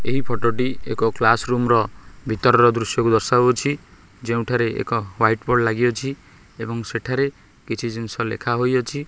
ଏହି ଫଟ ଟି ଏକ କ୍ଲାସ୍ ରୁମ୍ ର ଭିତରର ଦୃଶ୍ୟକୁ ଦର୍ଶାଉଛି ଯେଉଁଠାରେ ଏକ ୱାଇଟ୍ ବୋର୍ଡ଼ ଲାଗିଅଛି ଏବଂ ସେଠାରେ କିଛି ଜିନିଷ ଲେଖା ହୋଇଅଛି।